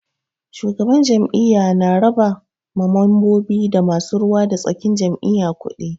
Shugaban jam'iyya na raba ma mambobi da masu ruwa da tsakin jam'iyya kuɗi.